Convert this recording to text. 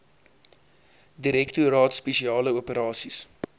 direktoraat spesiale operasies